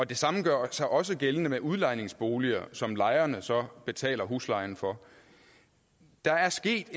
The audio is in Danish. det samme gør sig også gældende med udlejningsboliger som lejerne så betaler huslejen for der er sket